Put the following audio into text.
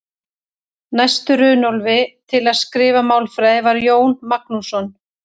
Næstur Runólfi til að skrifa málfræði var Jón Magnússon.